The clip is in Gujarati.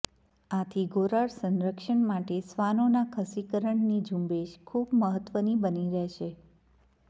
આથી ઘોરાડ સંરક્ષણ માટે શ્વાનોના ખસીકરણની ઝુંબેશ ખુબ મહત્ત્વની બની રહેશે